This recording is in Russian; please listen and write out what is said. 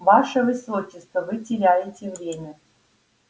ваше высочество вы теряете время